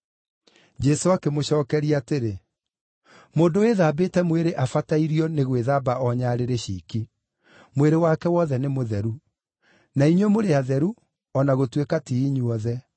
Jesũ akĩmũcookeria atĩrĩ, “Mũndũ wĩthambĩte mwĩrĩ abatairio nĩ gwĩthamba o nyarĩrĩ ciiki; mwĩrĩ wake wothe nĩ mũtheru. Na inyuĩ mũrĩ atheru, o na gũtuĩka ti inyuothe.”